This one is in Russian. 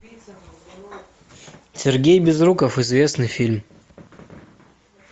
сергей безруков известный фильм